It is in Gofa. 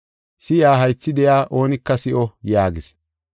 Si7iya haythi de7iya oonika si7o” yaagis.